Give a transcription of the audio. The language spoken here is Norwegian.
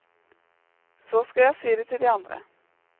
Så skal jeg si det til de andre.